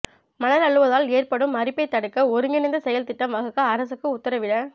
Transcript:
மணல் அள்ளுவதால் ஏற்படும் அரிப்பைத் தடுக்க ஒருங்கிணைந்த செயல் திட்டம் வகுக்க அரசுக்கு உத்தரவிட